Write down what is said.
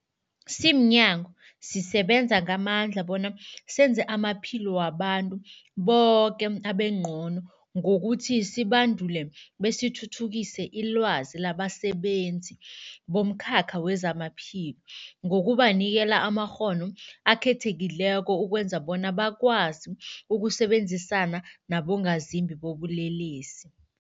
Simnyango, sisebenza ngamandla bona senze amaphilo wabantu boke abengcono ngokuthi sibandule besithuthukise ilwazi labasebenzi bomkhakha wezamaphilo ngokubanikela amakghono akhethekileko ukwenzela bona bakwazi ukusebenzisana nabongazimbi bobulelesi.